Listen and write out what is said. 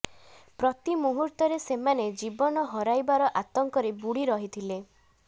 ପ୍ରତି ମୁହୂର୍ତ୍ତରେ ସେମାନେ ଜୀବନ ହରାଇବାର ଆତଙ୍କରେ ବୁଡ଼ି ରହିଥିଲେ